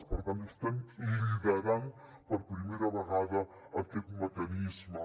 per tant estem liderant per primera vegada aquest mecanisme